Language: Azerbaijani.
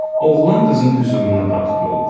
Oğlan qızın hüzuruna daxil olur.